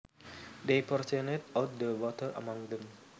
They portioned out the water among them